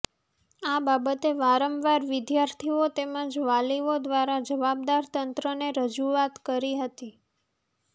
આ બાબતે વારંવાર વિદ્યાર્થીઓ તેમજ વાલીઓ દ્વારા જવાબદાર તંત્રને રજુઆત કરી હતી